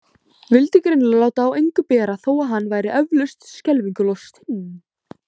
Vildi greinilega láta á engu bera þó að hann væri eflaust skelfingu lostinn.